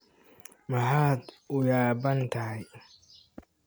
Maxaad u yaabban tahay?